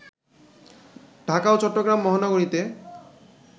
ঢাকা ও চট্টগ্রাম মহানগরীতে